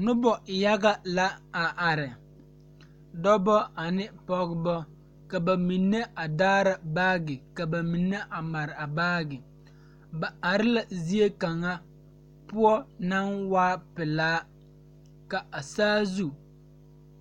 Noba yaɡa la a are dɔbɔ ane pɔɡebɔ ka ba mine a daara baaɡe ka ba mine a mare a baaɡe ba are la zie kaŋa poɔ naŋ waa pelaa ka a saazu